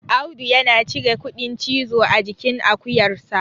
Audu yana cire kuɗin cizo a jikin akuyarsa